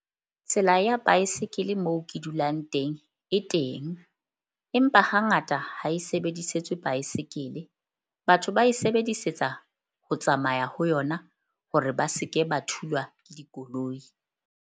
Tsela ya baesekele mo ke dulang teng e teng, empa hangata ha e sebedisetswe baesekele. Batho ba e sebedisetsa ho tsamaya ho yona hore ba se ke ba thulwa ke dikoloi.